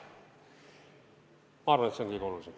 Ma arvan, et see on kõige olulisem.